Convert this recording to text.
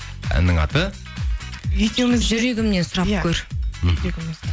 әннің аты жүрегімнен сұрап көр мхм